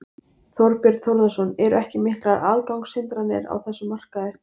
Þorbjörn Þórðarson: Eru ekki miklar aðgangshindranir á þessum markaði?